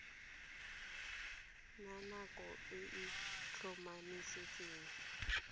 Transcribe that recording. na nako e e tlhomamisitsweng